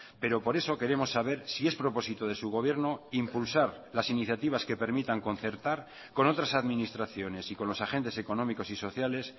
pero por eso queremos saber si es propósito de su gobierno impulsar las iniciativas que permitan concertar con otras administraciones y con los agentes económicos y sociales